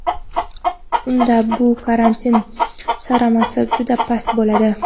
unda bu karantin samarasi juda past bo‘ladi.